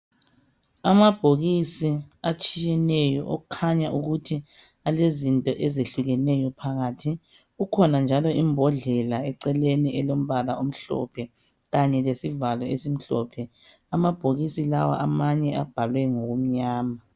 Amabhokisi atshiyeneyo okukhanya ukuthi alezinto ezehlukeneyo phakathi kukhona njalo imbodlela eceleni elombala omhlophe kanye lesivalo esimhlophe amabhokisi lawa amanye abhalwe ngomnyama.